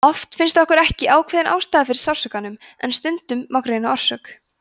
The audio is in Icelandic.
oft finnst ekki ákveðin ástæða fyrir sársaukanum en stundum má greina orsök